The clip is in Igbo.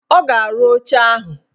Ọ ga-arụ oche ahụ.